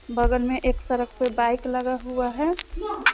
बगल में एक सरक पे बाइक लगा हुआ है।